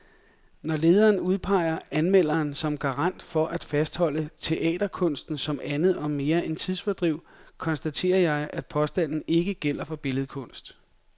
Når lederen udpeger anmelderen som garant for at fastholde teaterkunsten som andet og mere end tidsfordriv, konstaterer jeg, at påstanden ikke gælder for billedkunst.